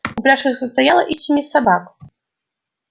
упряжка состояла из семи собак